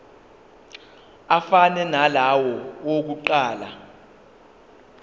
afana nalawo awokuqala